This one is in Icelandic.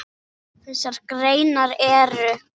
Þessar greinar eru